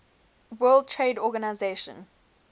world trade organisation